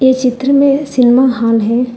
चित्र में cinema hall है।